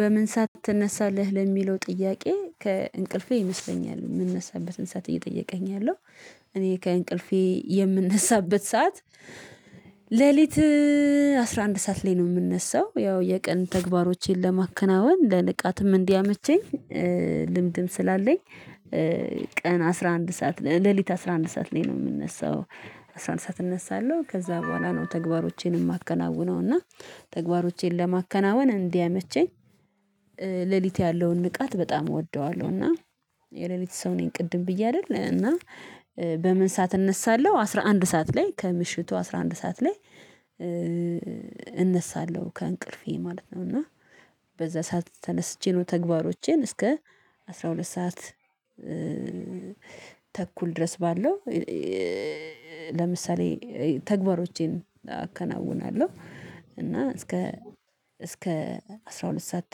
በምን ሰዓት ትነሳለህ ለሚለው ጥያቄ ከእንቅልፌ ይመስለኛል የምንነሳበትን ሰዓት እየጠየቀኝ ያለው? እኔ ከእንቅልፌ የምነሳበት ሰዓት ሌሊት አስራ አንድ ሰዓት ላይ ነው የምነሳው ያው የቀን ተግባሮቼን ለማከናወን ለንቃትም እንዲያመቸኝ ልምድም ስላለኝ። ቀን አስራ አንድ ሰዓት ሌሊት አስራ አንድ ሰዓት ላይ ነው የምነሳው። አስራ አንድ ሰዓት እነሳለሁ ከዚያ በኋላ ነው ተግባሮቼን ማከናውነው እና ተግባሮቼን ለማከናወን እንዲያመቸኝ ሌሊት ያለውን ንቃት በጣም እወደዋለሁ እና የሌሊት ሰው ነኝ። ቅድም ብዬ አይደል እና በምን ሰዓት እነሳለሁ አስራ አንድ ሰዓት ላይ ከምሽቱ አስራ አንድ ሰዓት ላይ። እነሳለሁ ከእንቅልፌ ማለት ነው። እና በዚያ ሰዓት ተነስቼ ነው ተግባሮቼን እስከ አስራ ሁለት ሰዓት ተኩል ድረስ ባለው ለምሳሌ ተግባሮቼን አከናውናለሁ። እና እስከ እስከ አስራ ሁለት ሰዓት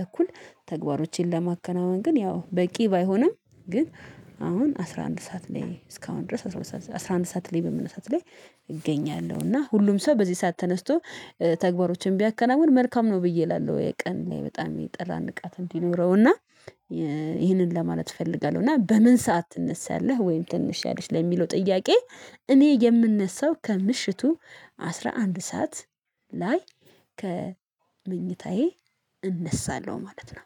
ተኩል ተግባሮቼን ለማከናወን ግን ያው በቂ ባይሆንም ግን አሁን አስራ አንድ ሰዓት ላይ እስካሁን ድረስ አስራ አንድ ሰዓት ላይ በመነሳት ላይ እገኛለሁ እና ሁሉም ሰው በዚህ ሰዓት ተነስቶ ተግባሮችን ቢያከናውን መልካም ነው ብዬ እላለሁ። የቀን በጣም የጠራ ንቃት እንዲኖረው እና ይሄንን ለማለት እፈልጋለሁ። እና በምን ሰዓት ትነሳለህ ወይም ትንሽያለሽ ለሚለው ጥያቄ? እኔ የምነሳው ከምሽቱ አስራ አንድ ሰዓት ላይ ከመኝታዬ እነሳለሁ ማለት ነው